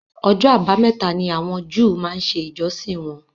Ọjọ́ abámẹ́ta ni àwọn Júù máa ń ṣe ìjọsìn wọn